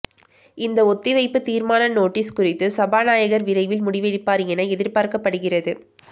இந்த ஒத்திவைப்பு தீர்மான நோட்டீஸ் குறித்து சபாநாயகர் விரைவில் முடிவெடுப்பார் என எதிர்பார்க்கப்படுகிறது